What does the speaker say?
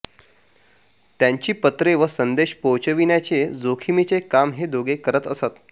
त्यांची पत्रे व संदेश पोहोचविण्याचे जोखमीचे काम हे दोघे करत असत